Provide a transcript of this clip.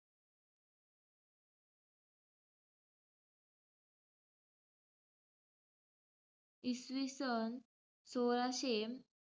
इसवीसन सोळाशे,